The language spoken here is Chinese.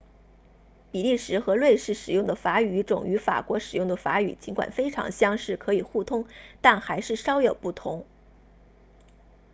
比利时和瑞士使用的法语语种与法国使用的法语尽管非常相似可以互通但还是稍有不同